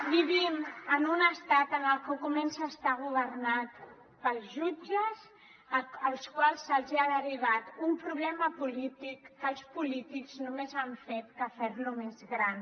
vivim en un estat que comença a estar governat pels jutges als quals se’ls ha derivat un problema polític que els polítics només han fet que fer lo més gran